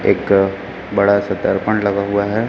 एक बड़ा सा दर्पण लगा हुआ है।